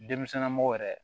Denmisɛnmɔgɔ yɛrɛ